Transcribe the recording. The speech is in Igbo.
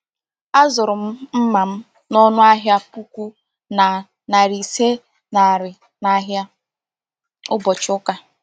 Azụrụ m mma m n'ọnụ ahịa puku na narị ise naira n’ahịa ụbọchị ụka.